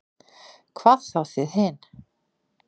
Hvað þá þið hin.